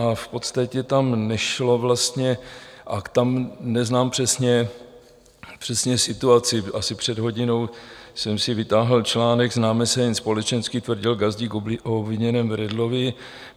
A v podstatě tam nešlo vlastně - a tam neznám přesně situaci - asi před hodinou jsem si vytáhl článek "Známe se jen společensky, tvrdil Gazdík o obviněném Redlovi.